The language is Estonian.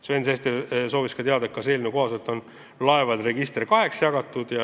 Sven Sester soovis ka teada, kas eelnõu kohaselt on laevade register kaheks jagatud.